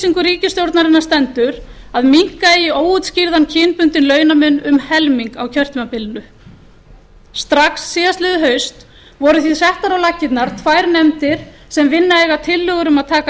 ríkisstjórnarinnar stendur að minnka eigi óútskýrðan kynbundinn launamun um helming á kjörtímabilinu strax síðastliðið haust voru því settar á laggirnar tvær nefndir sem vinna eiga tillögur um að taka